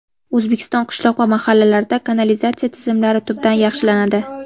O‘zbekiston qishloq va mahallalarida kanalizatsiya tizimlari tubdan yaxshilanadi.